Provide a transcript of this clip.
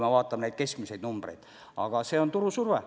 Aga vaatame keskmiseid numbreid – see on turusurve.